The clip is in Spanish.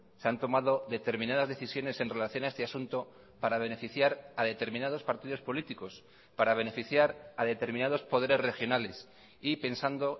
se han tomado determinadas decisiones en relación a este asunto para beneficiar a determinados partidos políticos para beneficiar a determinados poderes regionales y pensando